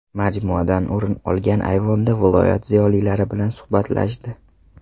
Majmuadan o‘rin olgan ayvonda viloyat ziyolilari bilan suhbatlashdi.